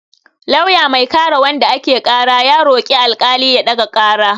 Lauya mai kare wanda ake ƙara ya roƙi alƙali ya ɗaga ƙara.